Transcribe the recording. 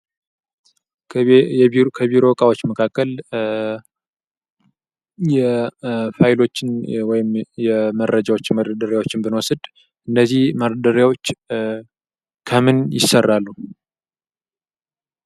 ከቢሮ እቃዎች መካከል ፋይሎችን ወይም የመረጃዎችን መደርደሪያዎችን ብንወስድ እነዚህ መደርደሪያዎች ከምን ይሰራሉ?